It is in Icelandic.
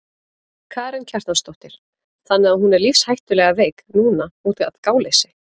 Karen Kjartansdóttir: Þannig að hún er lífshættulega veik núna útaf gáleysi?